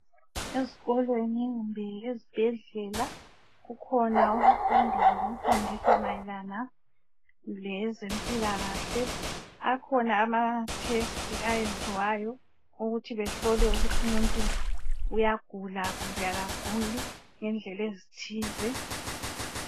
Ezikolweni kumbe ezibhedlela ikhona imfundo mayelana lezempilakahle. kukhona ukuhlola okwenzakalayo ukubona ukuthi umuntu uyagula kumbe kaguli ngendlela ezithile.